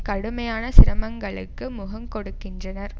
கடுமையான சிரமங்களுக்கு முகங்கொடுக்கின்றனர்